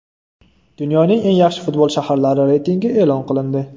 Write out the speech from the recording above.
Dunyoning eng yaxshi futbol shaharlari reytingi e’lon qilindi.